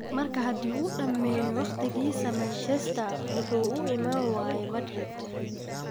Marka haddii uu dhammeeyo waqtigiisa Manchester, muxuu u iman waayay Madrid?